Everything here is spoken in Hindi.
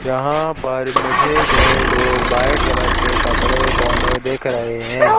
यहां पर मुझे वे लोग व्हाइट कलर के कपड़े पेहने देख रहे हैं।